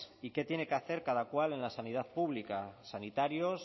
y qué tiene que hacer cada cual en la sanidad pública sanitarios